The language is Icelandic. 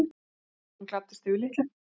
Hún gladdist yfir litlu.